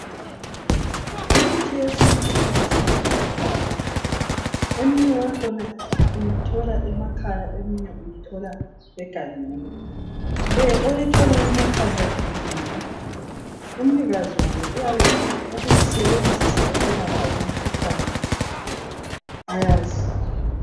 Imithi yesuntu ilusizo kakhulu. Eminye yakhona uyithola emakhaya eminye uyithola egangeni. Leyi oyithola emakhaya ilinyiwe umnikazi wayo uyabe efuna ukuyisebenzisa ukwelapha imikhuhlane ayaziyo